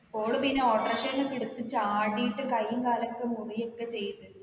ഓള് പിന്നെ auto rikshaw ന്ന് ഒക്കെ എടുത്ത് ചാടീട്ട് കയ്യും കാലൊക്കെ മുറിയൊക്കെ ചെയ്ത്